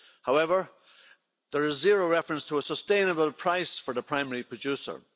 However, there is zero reference to a sustainable price for the primary producer.